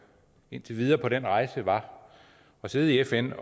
indtil videre på den rejse var at sidde i fn